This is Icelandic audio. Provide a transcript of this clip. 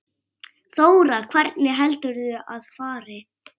Þóra: Hvernig heldurðu að fari?